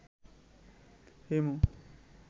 Himu